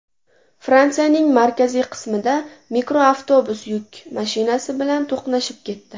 Fransiyaning markaziy qismida mikroavtobus yuk mashinasi bilan to‘qnashib ketdi.